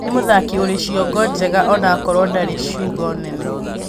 Nĩ mũthaki ũrĩ ciongo njega onakorwo ndarĩ ciũga nene